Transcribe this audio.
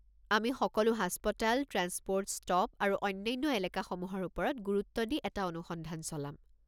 আমি সকলো হাস্পতাল, ট্ৰেন্সপ'ৰ্ট ষ্টপ আৰু অন্যান্য এলেকাসমূহৰ ওপৰত গুৰুত্ব দি এটা অনুসন্ধান চলাম।